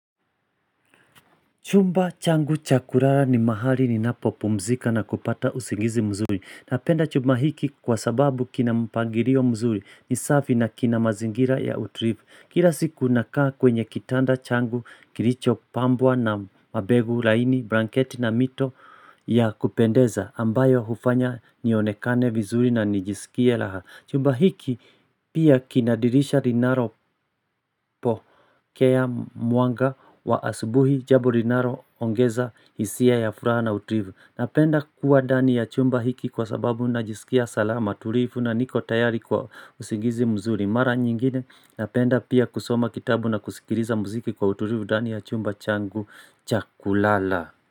Chumba changu chakurara ni mahali ni napo pumzika na kupata usingizi mzuri. Napenda chumba hiki kwa sababu kina mpangilio mzuri ni safi na kina mazingira ya utulivu. Kila siku na kaa kwenye kitanda changu kilicho pambwa na mabegu laini, branketi na mito ya kupendeza ambayo hufanya nionekane vizuri na nijisikia laha. Chumba hiki pia kinadirisha linalo pokea mwanga wa asubuhi jambo linalo ongeza hisia ya furaha na utulivu. Napenda kuwa ndani ya chumba hiki kwa sababu najisikia salama, tulifu na niko tayari kwa usingizi mzuri. Mara nyingine napenda pia kusoma kitabu na kusikiliza muziki kwa utilivu ndani ya chumba changu chakulala.